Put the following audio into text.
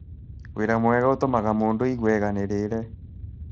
Wĩra mwega nĩ ũtũmaga mũndũ aigue aiganĩire.